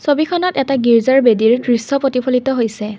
ছবিখনত এটা গীৰ্জাৰ বেদীৰ দৃশ্য প্ৰতিফলিত হৈছে।